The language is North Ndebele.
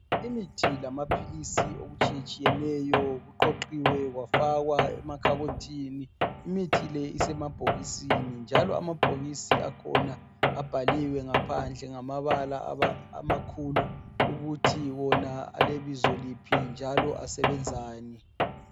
Imithi lamaphilisi okutshiyeneyo kuqoqiwe kwafakwa emakhabothini. Imithi le isemabhokisini njalo amabhokisi akhona abhaliwe ngaphandle ngamabala amakhulu ukuthi wona alebizo liphi njalo asebenzani.